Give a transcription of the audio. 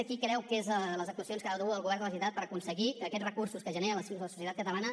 quines creu que són les actuacions que ha de dur el govern de la generalitat per aconseguir que aquests recursos que genera la societat catalana